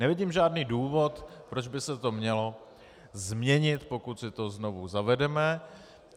Nevidím žádný důvod, proč by se to mělo změnit, pokud si to znovu zavedeme.